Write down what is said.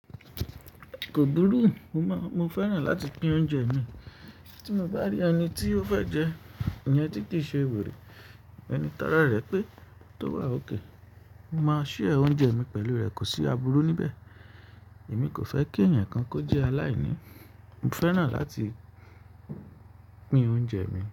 Kò burú, mo máa, mo fẹ́ràn láti pín oúnjẹ mi, tí mo bá rí ẹni tí ó fẹ́ jẹ, ìyan tí kìí ṣe wèrè, ẹni tára rẹ̀ pé tó wà ókè. Mo máa share oúnjẹ mi pẹ̀lú rẹ̀ kò sí àbúru níbẹ̀. Èmi kò fẹ́ kí ẹyankan kan kojẹ aláìní, mo fẹ́ràn láti pín oúnjẹ mi.